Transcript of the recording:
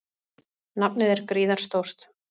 Nafnið er gríðarstórt.